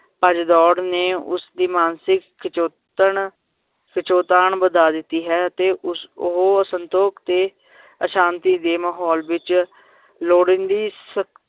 ਭੱਜਦੌੜ ਨੇ ਉਸਦੀ ਮਾਨਸਿਕ ਖਿਚਾਉਕਨ ਵਧਾ ਦਿੱਤੀ ਹੈ ਤੇ ਉਸ ਉਹ ਸੰਤੋਖ ਤੇ ਅਸ਼ਾਂਤੀ ਦੇ ਮਾਹੌਲ ਵਿਚ ਲੋੜੀਂਦੀ ਸ~